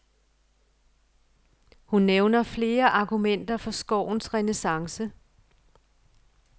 Hun nævner flere argumenterer for skovens renæssance.